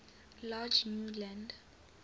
large new land